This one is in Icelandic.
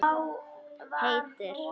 Heitur í kinnum.